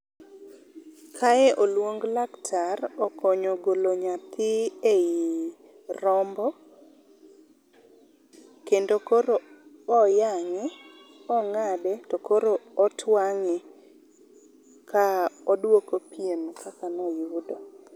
Kae oluong laktar okonyo golo nyathi ei rombo kendo koro oyange, ongade to koro otwange ka oduoko pien kaka noyudo